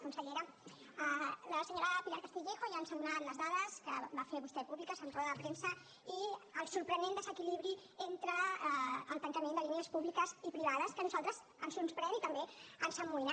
consellera la senyora pilar castillejo ja ens ha donat les dades que va fer vostè públiques en roda de premsa i el sorprenent desequilibri entre el tancament de línies públiques i privades que a nosaltres ens sorprèn i també ens amoïna